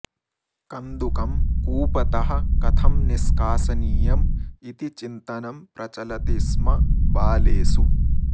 कन्दुकं कूपतः कथं निष्कासनियम् इति चिन्तनं प्रचलति स्म बालेषु